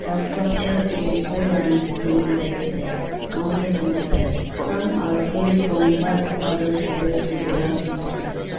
the sculptures dipict four lines standing back to back mounted on a vase some are fully from while others appears to be work in progress.